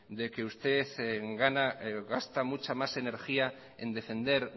de que usted gasta mucha más energía en defender